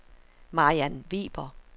Mariann Weber